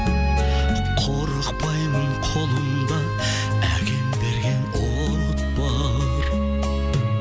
қорықпаймын қолымда әкем берген от бар